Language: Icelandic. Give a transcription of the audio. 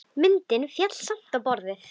Myndin féll samt á borðið.